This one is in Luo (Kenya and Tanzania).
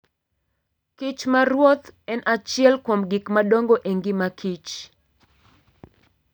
Kich maruoth en achiel kuom gik madongo e ngima kich.